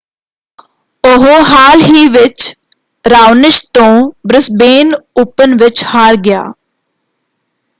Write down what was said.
ਉਹ ਹਾਲ ਹੀ ਵਿੱਚ ਰਾਓਨਿਸ਼ ਤੋਂ ਬ੍ਰਿਸਬੇਨ ਓਪਨ ਵਿੱਚ ਹਾਰ ਗਿਆ।